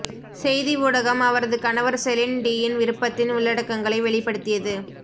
செய்தி ஊடகம் அவரது கணவர் செலின் டியின் விருப்பத்தின் உள்ளடக்கங்களை வெளிப்படுத்தியது